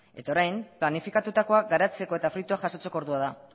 eta orain planifikatutakoa garatzeko eta fruituak jasotzeko ordua da